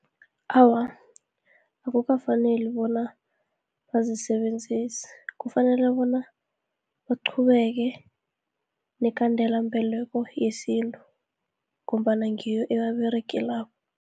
Awa akukafaneli bona bazisebenzise, kufanele bona baqhubeke nekhandelambeleko yesintu, ngombana ngiyo ebaberegelako.